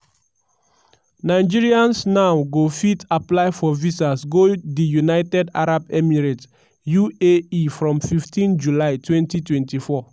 nigerians now go fit apply for visas go di united arab emirates (uae) from 15 july 2024.